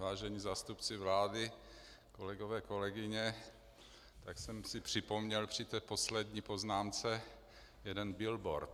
Vážení zástupci vlády, kolegové, kolegyně, tak jsem si připomněl při té poslední poznámce jeden billboard.